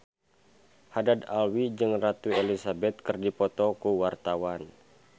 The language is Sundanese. Haddad Alwi jeung Ratu Elizabeth keur dipoto ku wartawan